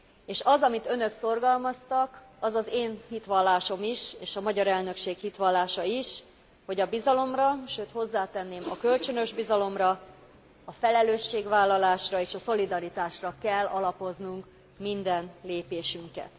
És az, amit önök szorgalmaztak, az az én hitvallásom is és a magyar elnökség hitvallása is, hogy a bizalomra, sőt, hozzátenném a kölcsönös bizalomra, a felelősségvállalásra és a szolidaritásra kell alapoznunk minden lépésünket.